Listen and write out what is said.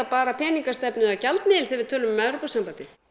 bara peningastefnu eða gjaldmiðil þegar við tölum um Evrópusambandið